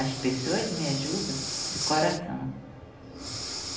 As pessoas me ajudam de coração.